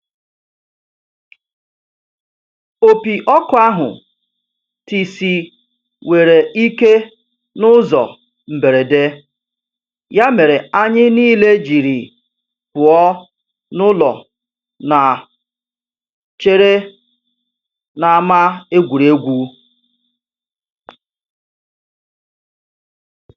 Opi ọkụ ahụ tisiwere ikè n'ụzọ mberede ya mere anyị niile jiri pụọ n'ụlọ na chere n'ama egwuregwu.